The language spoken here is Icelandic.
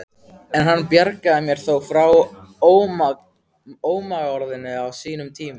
En hann bjargaði mér þó frá ómagaorðinu á sínum tíma.